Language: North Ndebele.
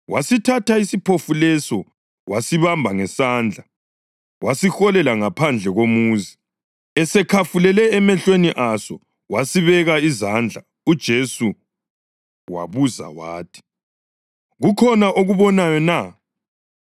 Wasithatha isiphofu leso wasibamba ngesandla wasiholela ngaphandle komuzi. Esekhafulele emehlweni aso wasibeka izandla uJesu wabuza wathi, “Kukhona okubonayo na?”